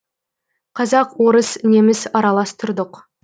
қазақ орыс неміс аралас тұрдық